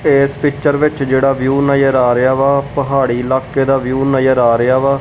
ਤੇ ਇਸ ਪਿਕਚਰ ਵਿੱਚ ਜਿਹੜਾ ਵਿਊ ਨਜਰ ਆ ਰਿਹਾ ਵਾ ਪਹਾੜੀ ਇਲਾਕੇ ਦਾ ਵਿਊ ਨਜ਼ਰ ਆ ਰਿਹਾ ਵਾ।